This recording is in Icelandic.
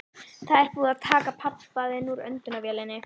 Það er búið að taka pabba þinn úr öndunarvélinni.